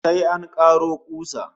Sai an karo kusa